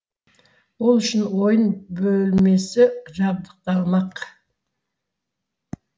ол үшін ойын бөлмесі жабдықталмақ